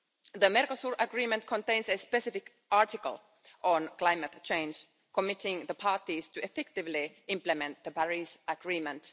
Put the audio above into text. The Mercosur Agreement contains a specific article on climate change, committing the parties to effectively implement the Paris Agreement.